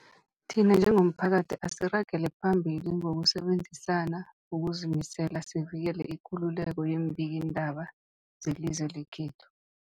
Thina njengomphakathi, asiragele phambili ngokusebenzisana ngokuzimisela sivikele ikululeko yeembikiindaba zelizwe lekhethu.